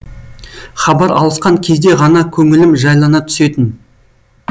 хабар алысқан кезде ғана көңілім жайлана түсетін